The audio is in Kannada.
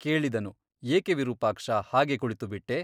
ಕೇಳಿದನು ಏಕೆ ವಿರೂಪಾಕ್ಷ ಹಾಗೆ ಕುಳಿತುಬಿಟ್ಟೆ?